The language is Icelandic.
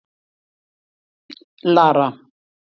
Lara